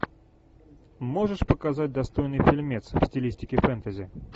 можешь показать достойный фильмец в стилистике фэнтези